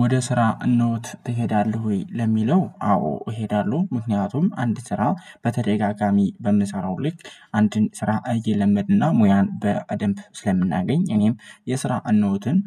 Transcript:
ወደ ስራ ኖት ትሄዳለህ ወይ? ለሚለው አዎ እሄዳለሁ ምክንያቱም አንድ ስራ በተደጋጋሚ በምሰራው ልክ አንድን ስራ እየለመድንና ሙያን በደንብ ስለምናገኝ እኔም የስራ እነሆትን